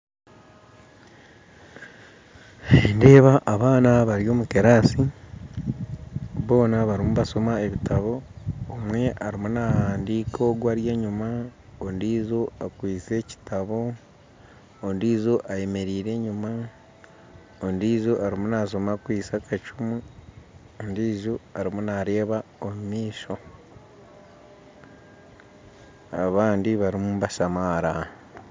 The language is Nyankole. Nindeeba abaana bari omukirasi boona barumu nibashoma ebitabo omwe arumu nahandiika ogu ari enyuma ondiijo akwitse ekitabo ondiijo ayemereire enjuma ondiijo arumu nashoma akwitse akacumu ondiijo arumu nareeba omumaisho abandi barumu nibashamaara.